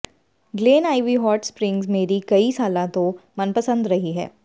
Glen Ivy hot springs ਮੇਰੀ ਕਈ ਸਾਲਾਂ ਤੋਂ ਮਨਪਸੰਦ ਰਹੀ ਹੈ